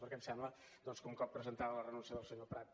perquè em sembla doncs que un cop presentada la renúncia del senyor prat